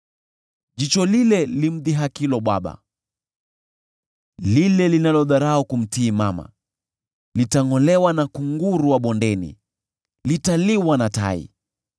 “Jicho lile limdhihakilo baba, lile linalodharau kumtii mama, litangʼolewa na kunguru wa bondeni, litaliwa na tai.